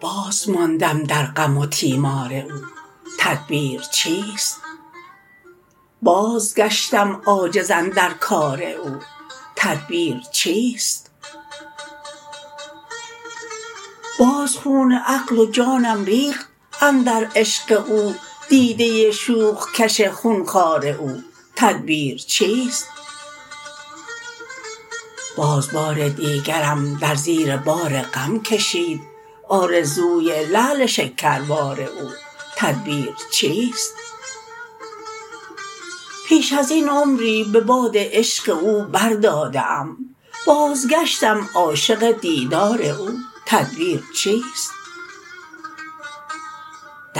بازماندم در غم و تیمار او تدبیر چیست بازگشتم عاجز اندر کار او تدبیر چیست باز خون عقل و جانم ریخت اندر عشق او دیده شوخ کش خونخوار او تدبیر چیست باز بار دیگرم در زیر بار غم کشید آرزوی لعل شکربار او تدبیر چیست پیش از این عمری به باد عشق او بر داده ام بازگشتم عاشق دیدار او تدبیر چیست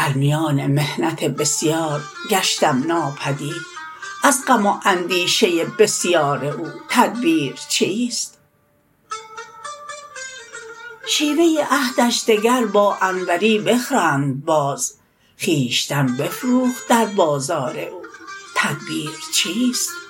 در میان محنت بسیار گشتم ناپدید از غم و اندیشه بسیار او تدبیر چیست شیوه عهدش دگر با انوری بخرند باز خویشتن بفروخت در بازار او تدبیر چیست